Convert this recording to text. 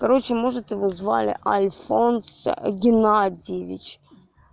короче может его звали альфонс геннадьевич